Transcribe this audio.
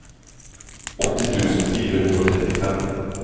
åtti tusen fire hundre og trettifem